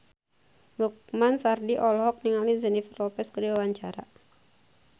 Lukman Sardi olohok ningali Jennifer Lopez keur diwawancara